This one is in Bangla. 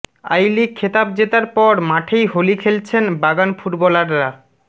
আইলিগ খেতাব জেতার পর মাঠেই হোলি খেলছেন বাগান ফুটবলাররা